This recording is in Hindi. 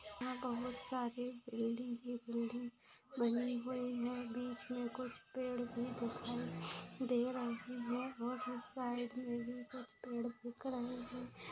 यहाँ बहुत सारे बिल्डिंग ही बिल्डिंग बनी हुई है बीच में कुछ पेड़ भी दिखाई दे रहे है और इस साइड में भी कुछ पेड़ देख रहे हैं।